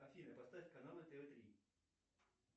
афина поставь каналы тв три